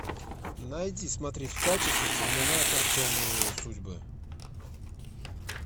найди смотреть в качестве терминатор темные судьбы